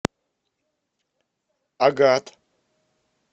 агат